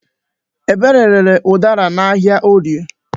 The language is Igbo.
Ebere rere ụdara n'ahịa Orie.